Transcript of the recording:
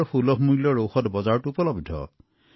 সঠিক আৰু সুলভ ঔষধ উপলব্ধ আছে